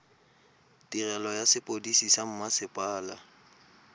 tirelo ya sepodisi sa mmasepala